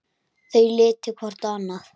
Þau líta hvort á annað.